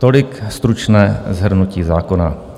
Tolik stručné shrnutí zákona.